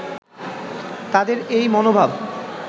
তাদের এই মনোভাব